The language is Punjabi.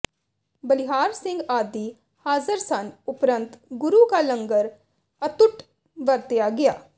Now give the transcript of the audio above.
ਬਲਿਹਾਰ ਸਿੰਘ ਆਦਿ ਹਾਜ਼ਰ ਸਨ ਉਪਰੰਤ ਗੁਰੂ ਕਾ ਲੰਗਰ ਅਤੱੁਟ ਵਰਤਾਇਆ ਗਿਆ